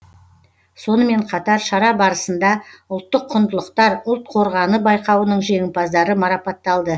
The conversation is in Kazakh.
сонымен қатар шара барысында ұлттық құндылықтар ұлт қорғаны байқауының жеңімпаздары марапатталды